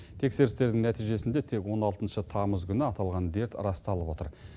тексерістердің нәтижесінде тек он алтыншы тамыз күні аталған дерт расталып отыр